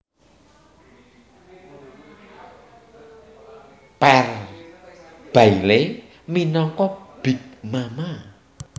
Pearl Bailey minangka Big Mama